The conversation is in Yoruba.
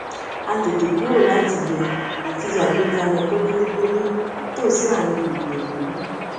a tètè kúrò láti yẹ láti yẹ àgbékalẹ kónílégbélé nítòsí àárín gbùngbùn ìlú